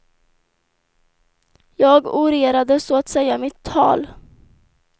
Jag orerade så att säga mitt tal.